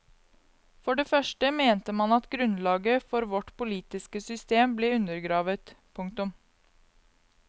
For det første mente man at grunnlaget for vårt politiske system ble undergravet. punktum